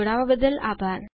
જોડાવા બદલ આભાર